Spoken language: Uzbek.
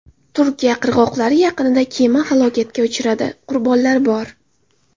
Turkiya qirg‘oqlari yaqinida kema halokatga uchradi, qurbonlar bor.